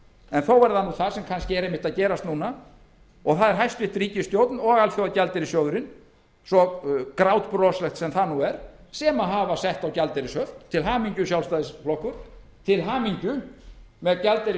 en þó er það nú það sem er kannski að gerast núna og það er hæstvirt ríkisstjórn og alþjóðagjaldeyrissjóðurinn svo grátbroslegt sem það nú er sem hafa sett á gjaldeyrishöft til hamingju sjálfstæðisflokkur til hamingju með gjaldeyrisskömmtunina